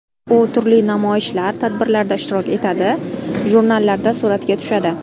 U turli namoyishlar, tadbirlarda ishtirok etadi, jurnallarda suratga tushadi.